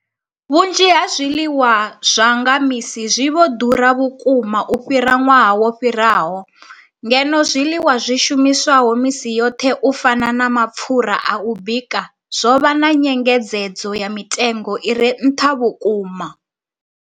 Vhunzhi ha zwiḽiwa zwa nga misi zwi vho ḓura vhukuma u fhira ṅwaha wo fhiraho, ngeno zwiḽiwa zwi shumiswaho misi yoṱhe u fana na mapfhura a u bika zwo vha na nyengedzedzo ya mitengo i re nṱha vhukuma.